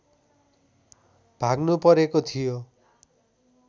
भाग्नुपरेको थियो